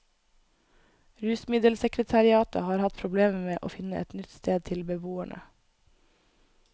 Rusmiddelsekretariatet har hatt problemer med å finne et nytt sted til beboerne.